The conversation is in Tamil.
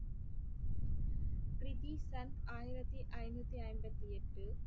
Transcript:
கிரிபி சந்த் ஆயிரத்தி ஐநூத்தி ஐம்பத்தி எட்டு